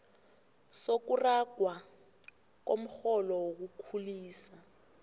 sokuragwa komrholo wokukhulisa